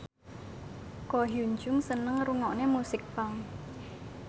Ko Hyun Jung seneng ngrungokne musik punk